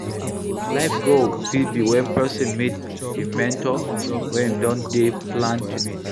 Life goal fit be when person meet im mentor wey im don dey plan to meet